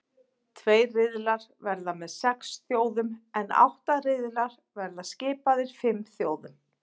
Tveir riðlar verða með sex þjóðum en átta riðlar verða skipaðir fimm þjóðum.